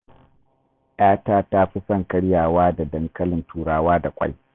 ‘Yata ta fi son karyawa da dankalin Turawa da ƙwai